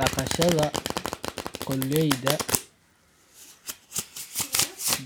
Daqashada qoleyda